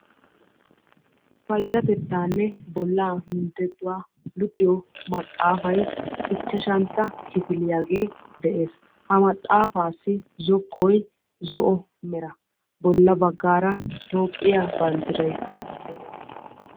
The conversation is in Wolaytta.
Payyatettaanne bollaa minttettuwa luxiyo maxaafayi ichchashantta kifiliyagee de'es. Ha maxaafaassi zokkoyi zo'o bolla baggaara toophiya banddiraykka de'es.